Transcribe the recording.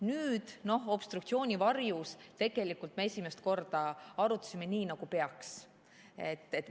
Nüüd obstruktsiooni varjus tegelikult me esimest korda arutasime nii, nagu peab.